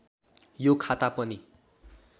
यो खाता पनि